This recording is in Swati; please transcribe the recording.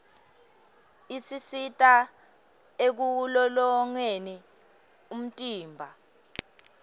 isisita ekulolongeni umtimba